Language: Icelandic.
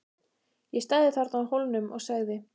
Ég stæði þarna á Hólnum og segði